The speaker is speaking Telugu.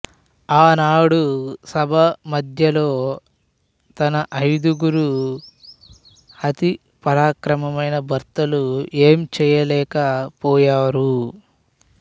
ఆనాడు సభామధ్యంలో తన అయిదుగురు అతి పరాక్రమమైన భర్తలు ఏం చెయ్యలేక పోయారు